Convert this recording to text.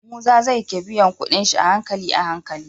Musa zai ke biyan kuɗin shi a hankali ahanli